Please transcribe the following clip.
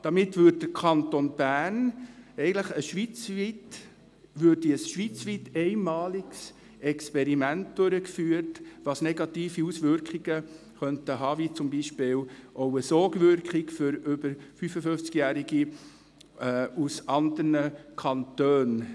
Damit würde der Kanton Bern ein schweizweit einmaliges Experiment durchführen, das negative Auswirkungen haben könnte, zum Beispiel auch eine Sogwirkung für über 55-Jährige aus anderen Kantonen.